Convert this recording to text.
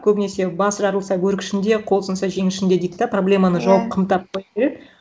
көбінесе басы жарылса бөрік ішінде қолы сынса жең ішінде дейді да проблеманы жауып қымтап қояды иә